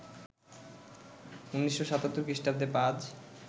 ১৯৭৭ খ্রিস্টাব্দে পাজ